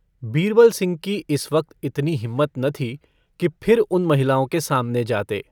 बीरबलसिंह की इस वक्त इतनी हिम्मत न थी कि फिर उन महिलाओं के सामने जाते।